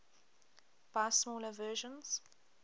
buy smaller versions